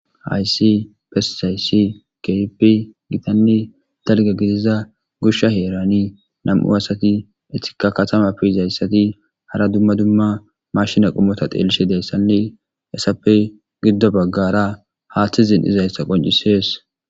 Haysi pesisaysi keripi gitanni dalga giziza gusha heerani nam7u asati etika katama piizayssati hara dumma dumma mashina qumota teellishi deessanne essappey giddo baggara haaththizin izayssa qoncisees.